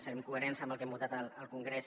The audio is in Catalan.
serem coherents amb el que hem votat al congrés